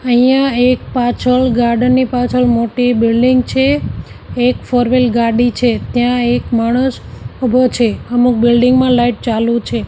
અહીંયા એક પાછળ ગાર્ડન ની પાછળ મોટી બિલ્ડીંગ છે એક ફોર વ્હીલ ગાડી છે ત્યાં એક માણસ ઉભો છે અમુક બિલ્ડીંગ માં લાઈટ ચાલુ છે.